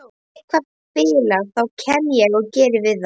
Ef eitthvað bilar þá kem ég og geri við það.